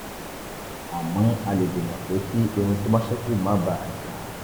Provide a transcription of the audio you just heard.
àmọ́ a lè dènà pé kí irun tó bá ṣẹ́kù má bàa já